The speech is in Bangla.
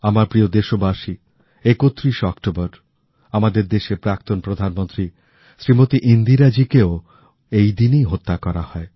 আমার প্রিয় দেশবাসী ৩১ অক্টোবর আমাদের দেশের প্রাক্তন প্রধানমন্ত্রী শ্রীমতি ইন্দিরা দেবীকেও এই দিনেই হত্যা করা হয়